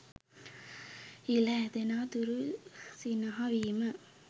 ඉළ ඇදෙනා තුරු සිනහ වීම